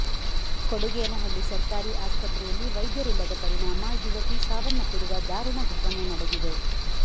ಕೊಡುಗೇನಹಳ್ಳಿ ಸರ್ಕಾರಿ ಆಸ್ಪತ್ರೆಯಲ್ಲಿ ವೈದ್ಯರಿಲ್ಲದ ಪರಿಣಾಮ ಯುವತಿ ಸಾವನ್ನಪ್ಪಿರುವ ದಾರುಣ ಘಟನೆ ನಡೆದಿದೆ